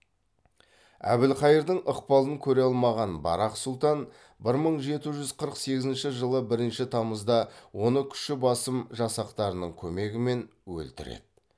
әбілқайырдың ықпалын көре алмаған барақ сұлтан бір мың жеті жүз қырық сегізінші жылы бірінші тамызда оны күші басым жасақтарының көмегімен өлтіреді